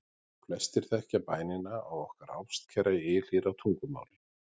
Flestir þekkja bænina á okkar ástkæra ylhýra tungumáli: